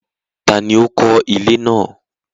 Tani ó kó ilé náà?